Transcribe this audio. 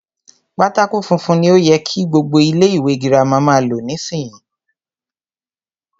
Pátákó funfun ni o yẹ kí gbogbo ilé ìwé girama máa lò nísìyí.